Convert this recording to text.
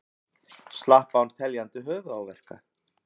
Slapp án teljandi höfuðáverka